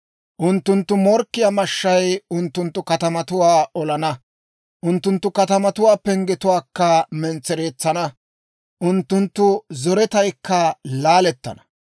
Unttunttu morkkiyaa mashshay unttunttu katamatuwaa olana. Unttunttu katamatuwaa penggetuwaakka mentsereetsana; unttunttu zoretaykka laalettana.